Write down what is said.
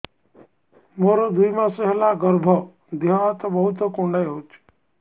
ମୋର ଦୁଇ ମାସ ହେଲା ଗର୍ଭ ଦେହ ହାତ ବହୁତ କୁଣ୍ଡାଇ ହଉଚି